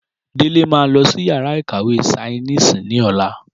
Délé ma lọsí yàrá ìkàwé sainísì ní ọ̀la